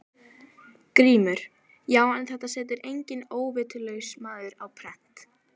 GRÍMUR: Já, en þetta setur enginn óvitlaus maður á prent.